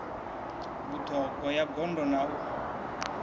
vhuṱhogwa ya gondo na u